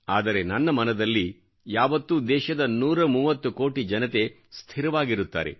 ಆದರೆ ನನ್ನ ಮನದಲ್ಲಿ ಯಾವತ್ತೂ ದೇಶದ 130 ಕೋಟಿ ಜನತೆ ಸ್ಥಿರವಾಗಿರುತ್ತಾರೆ